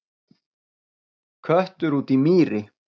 Köttur út í mýri